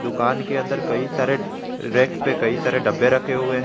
दुकान के अंदर कई सारे रेक पर कई सारे डब्बे रखे हुए हैं।